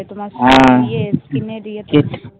হ্যা, ঠিক